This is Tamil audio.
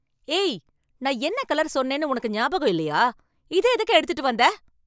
ஏய், நான் என்ன கலர் சொன்னேன்னு உனக்கு ஞாபகம் இல்லையா? இத எதுக்கு எடுத்துட்டு வந்த?